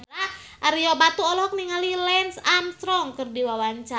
Ario Batu olohok ningali Lance Armstrong keur diwawancara